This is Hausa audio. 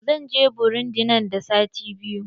Zan je burundi nan da sati biyu.